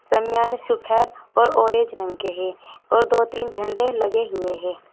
शामियाने सफेद और ऑरेंज रंग के है और दो तीन झंडे लगे हुए हैं।